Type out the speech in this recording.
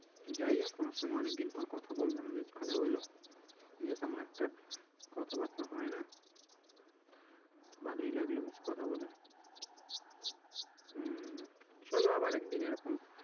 যাই হোক তোমার সঙ্গে অনেক দিন পর কথা বললাম, বেশ ভালো হলো। যদিও তেমন একটা কথাবার্তা হয়না তো ভালোই লাগলো বেশ কথা বলে। চলো আবার একদিন এরকম।